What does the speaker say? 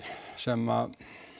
sem